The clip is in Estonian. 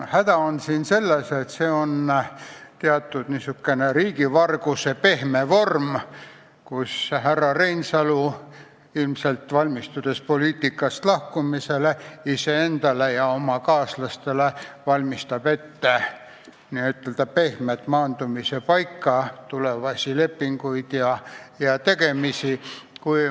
Häda on siin selles, et tegu on teatud moel riigivarguse pehme vormiga, mida kasutades härra Reinsalu, kes ilmselt valmistub poliitikast lahkuma, valmistab iseendale ja oma kaaslastele ette pehme maandumise paika, tulevasi lepinguid ja tegemisi.